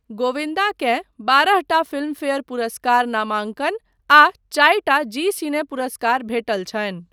गोविन्दा केँ बारहटा फिल्मफेयर पुरस्कार नामाङ्कन आ चारिटा जी सिने पुरस्कार भेटल छनि।